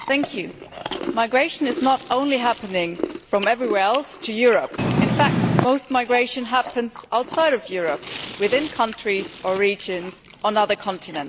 Madam President, migration is not only happening from everywhere else to Europe. In fact, most migration happens outside Europe, within countries or regions on other continents.